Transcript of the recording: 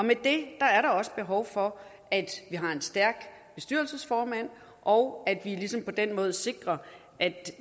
med det er der også behov for at vi har en stærk bestyrelsesformand og at vi ligesom på den måde sikrer at